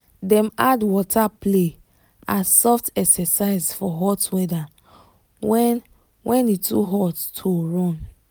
dem add water play as soft exercise for hot weather when when e too hot to run